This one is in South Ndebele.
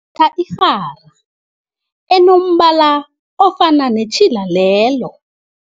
irhara enombala ofana netjhila lelo.